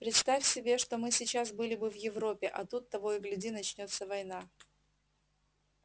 представь себе что мы сейчас были бы в европе а тут того и гляди начнётся война